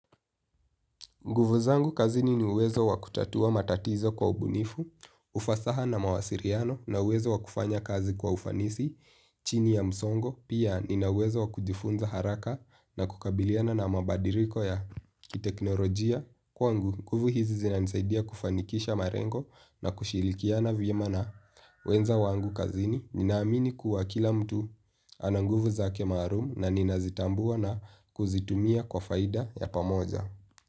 Nguvu zangu kazini ni uwezo wa kutatua matatizo kwa ubunifu, ufasaha na mawasiliano na uwezo wa kufanya kazi kwa ufanisi, chini ya msongo, pia nina uwezo wa kujifunza haraka na kukabiliana na mabadiliko ya kiteknolojia. Kwangu, nguvu hizi zinanisaidia kufanikisha malengo na kushirikiana vyema na wenza wangu kazini, ninaamini kuwa kila mtu ana nguvu zake maalum na ninazitambua na kuzitumia kwa faida ya pamoja.